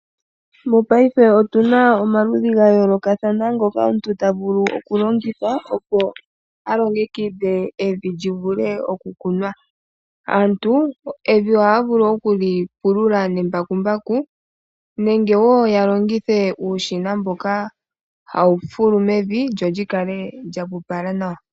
Mopayife otuna omaludhi ga yoolokathana ngoka omuntu tavulu oku longitha opo alongekidhe evi lye livule okukunwa. Aantu evi ohaya vulu okuli pulula nembakumbaku nenge ya longithe uushina mboka hawu fulu mevi lyo likale lya pupala nawa. .